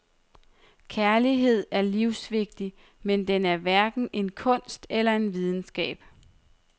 Kærlighed er livsvigtig, men den er hverken en kunst eller en videnskab.